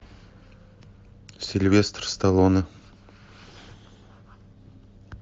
сильвестр сталлоне